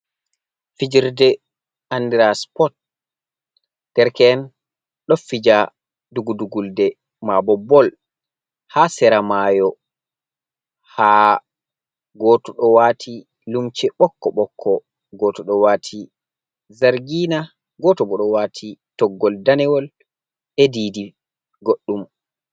Figirɗe andira siput ɗereke en ɗo fija ɗogu ɗogulɗe ma ɓo ɓol ha sera mayo ha goto ɗo wati lemse ɓokko ɓokko goto ɗo wati jargina goto ɗo wati goto ɓo ɗo wati toggul denewol e ɗiɗi goɗɗum.